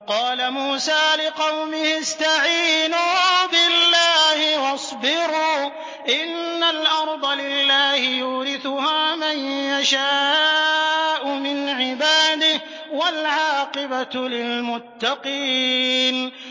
قَالَ مُوسَىٰ لِقَوْمِهِ اسْتَعِينُوا بِاللَّهِ وَاصْبِرُوا ۖ إِنَّ الْأَرْضَ لِلَّهِ يُورِثُهَا مَن يَشَاءُ مِنْ عِبَادِهِ ۖ وَالْعَاقِبَةُ لِلْمُتَّقِينَ